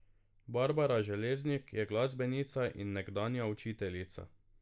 Barbara Železnik je glasbenica in nekdanja učiteljica.